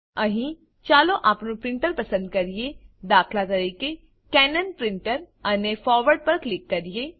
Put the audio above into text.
અહીં ચાલો આપણું પ્રીંટર પસંદ કરીએ દાત કેનન પ્રીંટર અને ફોરવર્ડ પર ક્લિક કરીએ